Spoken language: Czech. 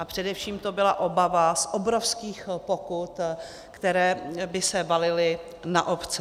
A především to byla obava z obrovských pokut, které by se valily na obce.